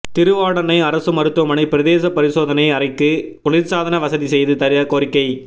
திருவாடானை அரசு மருத்துவமனை பிரேத பரிசோதனை அறைக்கு குளிா்சாதன வசதி செய்து தர கோரிக்கை